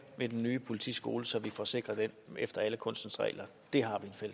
med den nye politiskole så vi får sikret den efter alle kunstens regler det